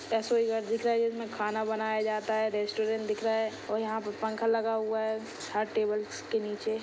रसोई घर दिख रही हैं जिसमे खाना बनाया जाता हैंरेस्टोरेंट दिख रहा हैं और यहाँ पे पंखा लगा हुआ हैं छः टेबल्स के नीचे--